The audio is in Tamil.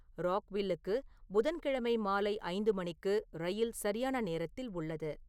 ராக்வில்லுக்கு புதன்கிழமை மாலை ஐந்து மணிக்கு ரயில் சரியான நேரத்தில் உள்ளது